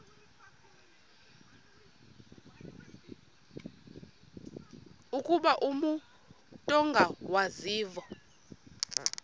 ukuba umut ongawazivo